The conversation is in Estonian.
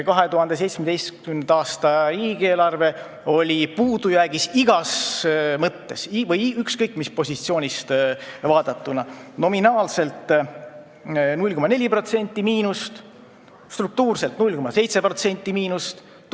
2017. aasta riigieelarve oli puudujäägis igas mõttes, ükskõik, mis positsioonilt vaadatuna, nominaalselt 0,4% miinust, struktuurselt 0,7% miinust.